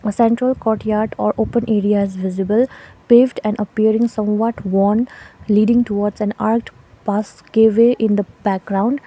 a central courtyard or open area is visible paved and appearing somewhat leading towards an arched pass gateway in the background .